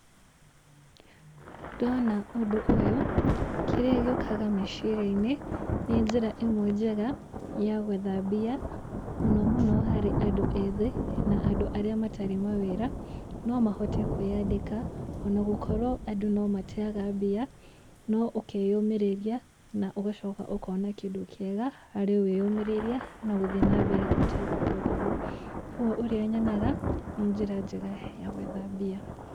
Ndona ũndũ ũyũ kĩrĩa gĩũkaga meciria-inĩ, nĩ njĩra ĩmwe njega ya gwetha mbia, mũno muno hari andũ ethĩ, na andũ arĩa matarĩ mawĩra, no mahote kwiyandĩka, ona gũkorwo andũ no mateaga mbia, no ũkeyũmĩrĩria, ũgacoka ũkona kĩndũ kĩega harĩ wĩyũmĩrĩria na gũthiĩ na mbere ũtegũkua ngoro. Koguo ũrĩa nyonaga, nĩ njĩra njega ya gwetha mbia.